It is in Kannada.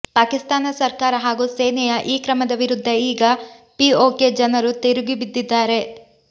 ಪಾಕಿಸ್ತಾನ ಸರ್ಕಾರ ಹಾಗೂ ಸೇನೆಯ ಈ ಕ್ರಮದ ವಿರುದ್ಧ ಈಗ ಪಿಒಕೆ ಜನರು ತಿರುಗಿ ಬಿದ್ದಿದ್ದಾರೆ